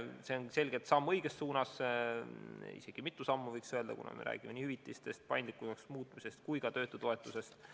See on selgelt samm õiges suunas, isegi mitu sammu, võiks öelda, kuna me räägime nii hüvitistest, paindlikumaks muutmisest kui ka töötutoetusest.